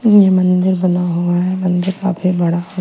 ये मंदिर बना हुआ है मंदिर काफी बड़ा है।